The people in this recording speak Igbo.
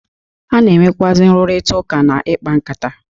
A na-enwekwụazị nrụrita ụka na ikpa nkata.